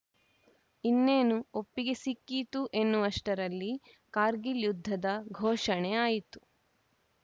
ಇನ್ನೇನು ಒಪ್ಪಿಗೆ ಸಿಕ್ಕೀತು ಎನ್ನುವಷ್ಟರಲ್ಲಿ ಕಾರ್ಗಿಲ್‌ ಯುದ್ಧದ ಘೋಷಣೆ ಆಯಿತು